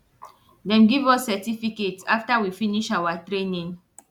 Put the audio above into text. dem give us certificate after we finish awa training